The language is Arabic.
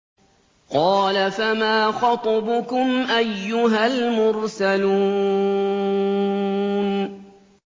۞ قَالَ فَمَا خَطْبُكُمْ أَيُّهَا الْمُرْسَلُونَ